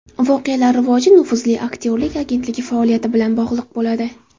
Voqealar rivoji nufuzli aktyorlik agentligi faoliyati bilan bog‘liq bo‘ladi.